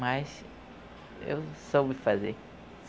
Mas eu soube fazer.